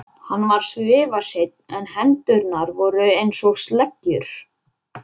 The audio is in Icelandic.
Hann var svifaseinn en hendurnar voru einsog sleggjur.